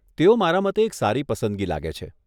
તેઓ મારા મતે એક સારી પસંદગી લાગે છે.